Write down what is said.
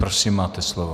Prosím, máte slovo.